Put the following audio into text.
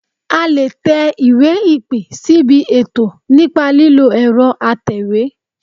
A lè tẹ iwé ìpè síbi ètò nípa lílo ẹ̀rọ atẹ̀wé